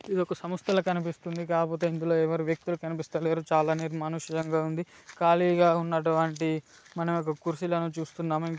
ఇది ఒక సంస్థల కనిపిస్తుంది కాకపోతే ఇందులో ఎవరు వ్యక్తులు కనిపిస్త లేరు చాలా నిర్మాణుసం గా ఉంది కాలీగా ఉనట్టువంటి మనం ఇక్కడ కుర్చీలను చుస్తునాం